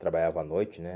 Trabalhava à noite, né?